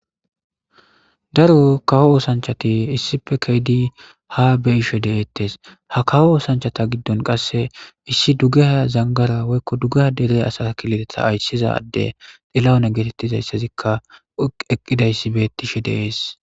Daaro kawo oosanchati issippe keedi ha be ishe dettes ha kawo oosanchata giddon qasse issi dugaha zangara woykko dugga deree asa kilitetha ayssiza adde xilahune geetettizayssezikka eqqidayssi beettishe de7es.